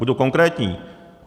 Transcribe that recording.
Budu konkrétní.